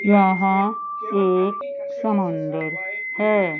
यहाँ एक समंदर है।